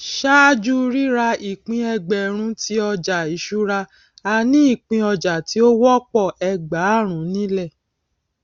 ṣáájú rírà ìpín ẹgbẹrún tí ọjà ìṣúra a ní ìpín ọjà tí ó wọpọ ẹgbààrún nílẹ